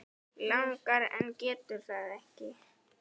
Langar en getur það ekki.